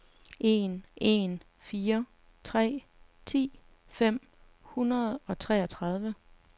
en en fire tre ti fem hundrede og treogtredive